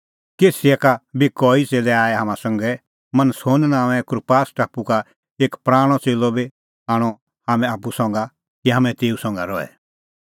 कैसरिया का बी कई च़ेल्लै आऐ हाम्हां संघै और मनसोन नांओंए कुप्रास टापू का एक पराणअ च़ेल्लअ बी आणअ हाम्हैं आप्पू संघा कि हाम्हैं तेऊ संघा रहे